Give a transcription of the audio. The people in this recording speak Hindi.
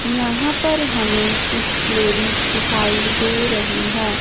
यहां पर हमें कुछ लेडिज दिखाई दे रही हैं।